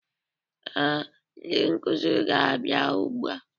Ee, ndị nkuzi ga-abịa ugbua